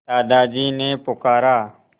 दादाजी ने पुकारा